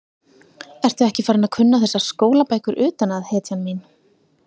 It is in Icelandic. Ertu ekki farin að kunna þessar skólabækur utan að, hetjan mín?